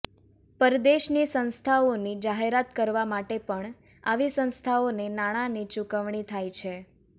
પરદેશની સંસ્થાઓની જાહેરાત કરવા માટે પણ આવી સંસ્થાઓને નાણાંની ચુકવણી થાય છે